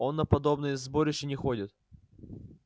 он на подобные сборища не ходит